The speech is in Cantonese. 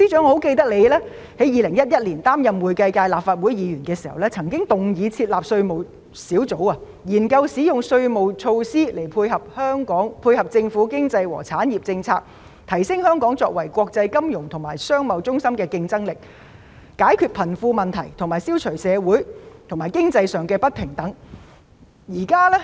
我記得司長在2011年擔任會計界立法會議員時，曾動議設立稅務小組，研究使用稅務措施配合政府經濟和產業政策，提升香港作為國際金融和商貿中心的競爭力，解決貧富問題，消除社會及經濟上的不平等。